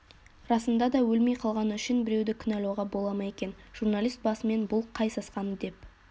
расында да өлмей қалғаны үшін біреуді кінәлауға бола ма екен журналист басымен бұл қай сасқаны деп